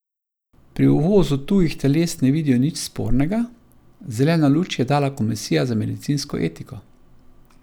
Pri uvozu tujih teles ne vidijo nič spornega, zeleno luč je dala komisija za medicinsko etiko.